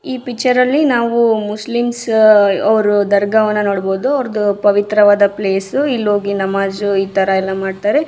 ಈ ಪಿಕ್ಚರ್ ಅಲ್ಲಿ ಮುಸ್ಲಿಮ್ಸ್ ಅವ್ರ ದರ್ಗವನ್ನು ನೋಡಬಹುದು ಅವ್ರದ್ದು ಪ್ರವಿತ್ರವಾದ ಪ್ಲೇಸ್ ಇಲ್ಲೋಗಿ ನಮಾಜ್ ಇತರ ಎಲ್ಲ ಮಾಡ್ತಾರೆ.